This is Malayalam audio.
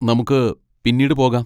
നമുക്ക് പിന്നീട് പോകാം.